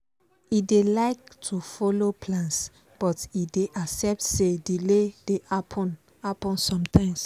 e dey like to follow plans but e dey accept say delay dey happen happen sometimes